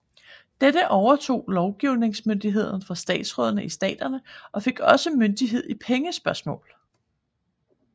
Dette overtog lovgivingsmyndigheden fra statsrådene i staterne og fik også myndighed i pengespørgsmål